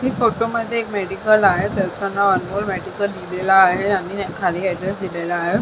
ह्या फोटो मध्ये एक मेडिकल आहे त्याच नाव अनमोल मेडिकल लिहिलेल आहे आणि खाली ऍड्रेस दिलेला आहे.